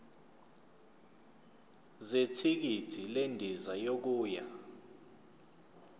zethikithi lendiza yokuya